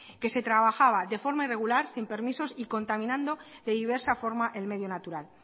que se trabajaba de forma irregular sin permisos y contaminando de diversa forma el medio natural